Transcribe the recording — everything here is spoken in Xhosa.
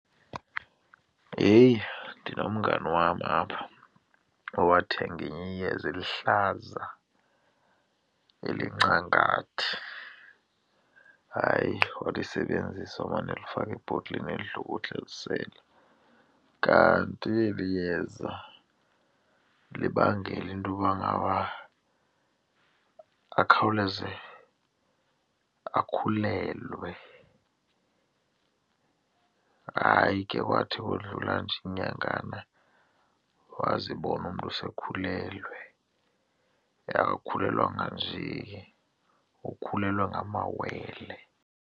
Heyi! Ndinomngani wam apha owathenga ilinye iyeza eliluhlaza elincangathi, hayi walisebenzisa wamane elifaka ebhotileni elihlukuhla elisela kanti eli yeza libangela intoba ngaba akhawuleze akhulelwe. Hayi ke, kwathi ukudlula nje iinyangana wazibona umntu sekhulelwe, akakhulelwanga njee ukhulelwe ngamawele.